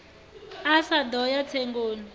a sa ḓo ya tsengoni